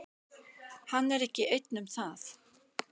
Hann er ekki einn um það.